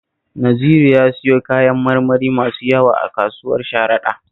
Naziru ya siyo kayan marmari masu yawa a kasuwar Sharaɗa